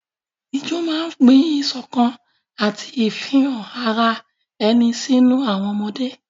Ijó máa ń gbin ìṣọ̀kan àti ìfihàn ara ẹni sínú àwọn ọmọdé.